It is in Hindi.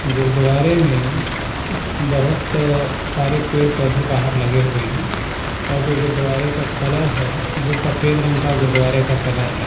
गुरुद्वारे में बहोत सारे पेड़ पौधे बाहर लगे हुए हैं और जो गुरुद्वारे का कलर है वह सफेद रंग का गुरुद्वारा का कलर है।